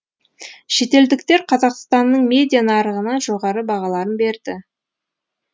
шетелдіктер қазақстанның медиа нарығына жоғары бағаларын берді